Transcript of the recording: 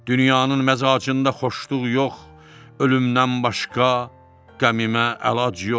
Dünyanın məzacında xoşluq yox, ölümdən başqa qəmimə əlac yox.